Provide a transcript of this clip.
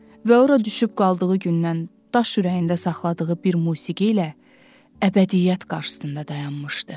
Və ora düşüb qaldığı gündən daş ürəyində saxladığı bir musiqi ilə əbədiyyət qarşısında dayanmışdı.